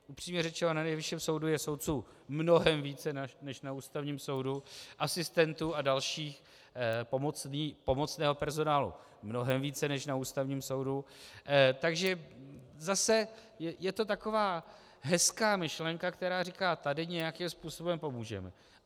Upřímně řečeno na Nejvyšším soudu je soudců mnohem více než na Ústavním soudu, asistentů a dalšího pomocného personálu mnohem více než na Ústavním soudu, takže zase je to taková hezká myšlenka, která říká, tady nějakým způsobem pomůžeme.